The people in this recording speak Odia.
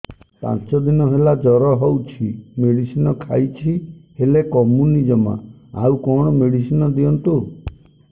ପାଞ୍ଚ ଦିନ ହେଲା ଜର ହଉଛି ମେଡିସିନ ଖାଇଛି ହେଲେ କମୁନି ଜମା ଆଉ କଣ ମେଡ଼ିସିନ ଦିଅନ୍ତୁ